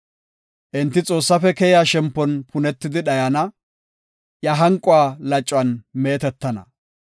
Enti Xoossaafe keya shempon punetidi dhayana; iya hanquwa lacuwan meetetana.